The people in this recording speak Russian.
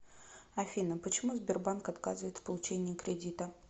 афина почему сбербанк отказывает в получении кредита